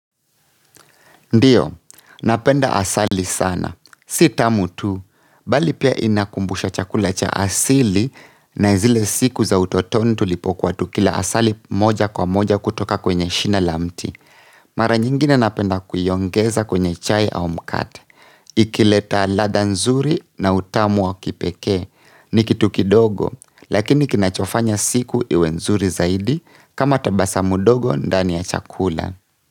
Ndiyo, napenda asali sana. Si tamu tu, bali pia inakumbusha chakula cha asili na zile siku za utotoni tulipokuwa tukila asali moja kwa moja kutoka kwenye shina la mti. Mara nyingine napenda kuiongeza kwenye chai au mkate. Ikileta ladha nzuri na utamu wa kipekee. Ni kitu kidogo, lakini kinachofanya siku iwe nzuri zaidi kama tabasamu dogo ndani ya chakula.